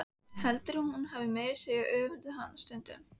Heldur að hún hafi meira að segja öfundað hana stundum.